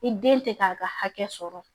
I den tɛ k'a ka hakɛ sɔrɔ